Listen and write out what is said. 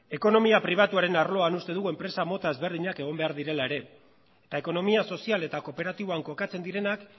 ekonomia pribatuaren arloan uste dugu enpresa mota ezberdinak egon behar direla ere eta ekonomia sozial eta kooperatiboan kokatzen direnak